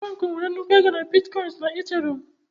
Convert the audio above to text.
Frank nwere nnukwu ego na Bitkoinsị na Ethereum.